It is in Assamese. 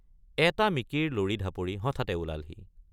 এটা মিকিৰ লৰি ঢাপৰি হঠাতে ওলালহি।